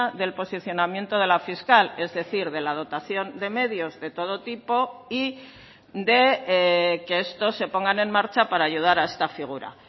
del posicionamiento de la fiscal es decir de la dotación de medios de todo tipo y de que estos se pongan en marcha para ayudar a esta figura